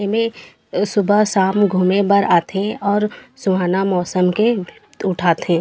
एमे सुबे शाम घूमे बर आथे अऊ सुहाना मौसम से लुफ़त उठा थे।